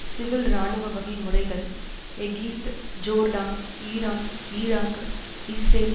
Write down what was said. civil இராணுவ வகை முறைகள் Egypt Jordan Iran Iraq Israel